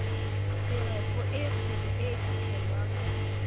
teropo e kgwebo e fitlhelwang